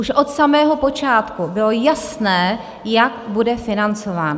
Už od samého počátku bylo jasné, jak bude financován.